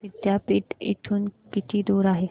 पुणे विद्यापीठ इथून किती दूर आहे